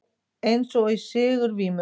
Eins og í sigurvímu.